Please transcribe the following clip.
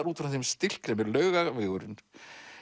út frá þeim stilk sem er Laugavegurinn